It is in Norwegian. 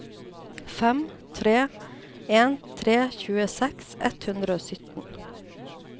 fem tre en tre tjueseks ett hundre og sytten